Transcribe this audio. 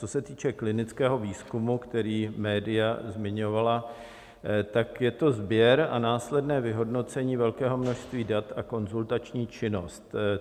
Co se týče klinického výzkumu, který média zmiňovala, tak je to sběr a následné vyhodnocení velkého množství dat a konzultační činnost.